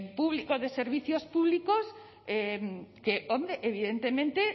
público de servicios públicos que evidentemente